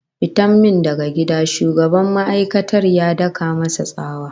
"Fita min daga gida!" Shugaban ma'aikatar ya dauka masa tsawa.